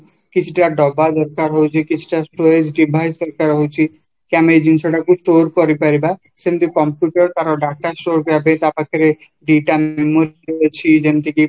କିଛିଟା ଦବ ଡବାଦରକାର ହଉଚି କିଛିଟା storage devise ଦାରାକାରହଉଛି କି ଆମେ ଏଇଜିନିଷଟାକୁ store କାରପାରିବ ସେମିତିୟ computer ତାର data store କରିବାପାଇଁ ତପାଖରେ ଦିଟା memory ଅଛି ଯେମିତିକି